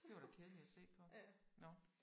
Det var da kedeligt at se på nåh